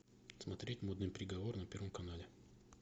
смотреть модный приговор на первом канале